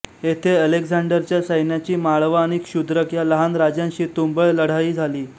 येथे अलेक्झांडरच्या सैन्याची माळवा आणि क्षुद्रक या लहान राज्यांशी तुंबळ लढाई झाली